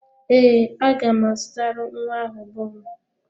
Ee, aga m azụtara nwa ahụ bọọlụ.